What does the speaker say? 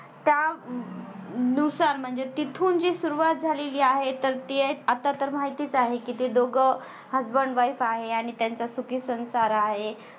त्यानुसार म्हणजे तिथून जी सुरुवात झालेली आहे तर ते आतातर माहितीच आहे कि ते दोघ husband wife आहे. आणि त्यांचा सुखी संसार आहे.